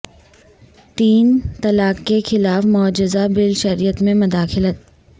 تین طلاق کے خلاف مجوزہ بل شریعت میں مداخلت